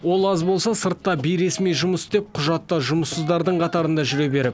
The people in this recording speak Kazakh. ол аз болса сыртта бейресми жұмыс істеп құжатта жұмыссыздардың қатарында жүре беріп